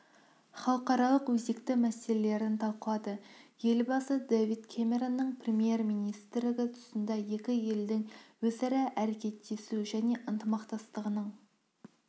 халықаралық өзекті мәселелерін талқылады елбасы дэвид кэмеронның премьер-министрігі тұсында екі елдің өзара әрекеттесу және ынтымақтастығының